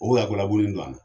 O ya gulabunin do an na.